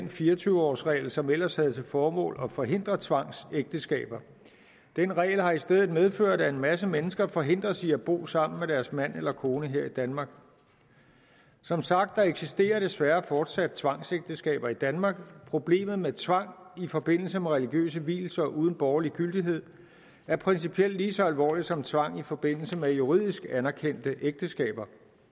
den fire og tyve årsregel som ellers havde til formål at forhindre tvangsægteskaber den regel har i stedet medført at en masse mennesker forhindres i at bo sammen med deres mand eller kone her i danmark som sagt eksisterer der desværre fortsat tvangsægteskaber i danmark problemet med tvang i forbindelse med religiøse vielser uden borgerlig gyldighed er principielt lige så alvorligt som tvang i forbindelse med juridisk anerkendte ægteskaber